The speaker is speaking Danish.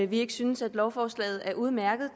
vi ikke synes at lovforslaget er udmærket